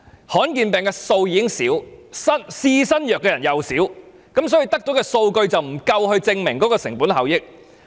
罕見疾病的數目已經少，試新藥的人也少，所以得到的數據不足以證明具成本效益。